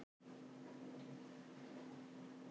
Og þarna biðjumst við fyrir